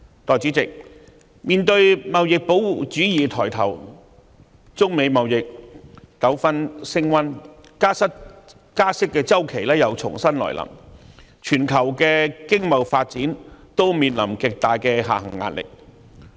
代理主席，面對貿易保護主義抬頭，中美貿易糾紛升溫，加息周期又重新來臨，全球經貿發展均面臨極大下行壓力。